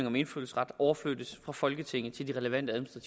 om indfødsret overflyttes fra folketinget til de relevante